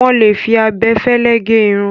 Wọ́n lè fi abẹ fẹ́lẹ́ gẹ irun.